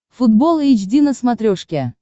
футбол эйч ди на смотрешке